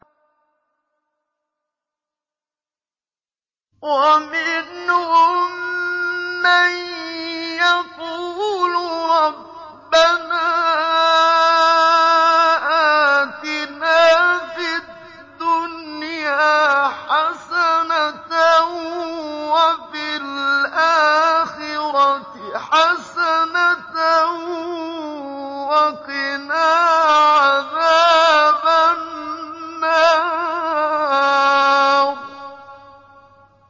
وَمِنْهُم مَّن يَقُولُ رَبَّنَا آتِنَا فِي الدُّنْيَا حَسَنَةً وَفِي الْآخِرَةِ حَسَنَةً وَقِنَا عَذَابَ النَّارِ